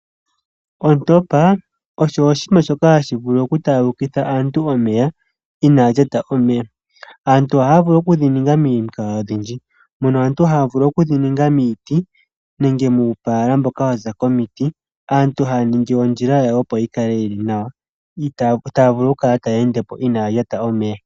Ontopa osho shimwe shoka hashi vulu oku taagulukitha aanrtu omeya inalyata omeya aantu oha ya vulu okudhininga momikalo odhindji moka aantu haya vulu okudhi ninga miiti nenge muupala mboka waza komiti aantu taa ningi ondjila yawo opo yi kale yi li nawq taa ningi opo ya kale inaa ya lyata omeya.